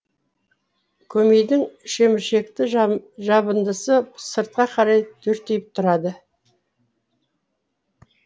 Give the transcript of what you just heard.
көмейдің шеміршекті жабындысы сыртқа қарай дүрдиіп тұрады